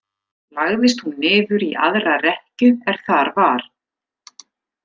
Lagðist hún niður í aðra rekkju er þar var.